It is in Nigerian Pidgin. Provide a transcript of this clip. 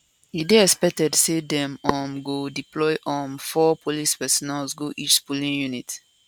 e dey expected say dem um go deploy um four police personnel go each polling unit